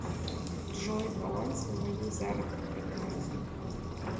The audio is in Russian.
джой баланс на моей заработной карте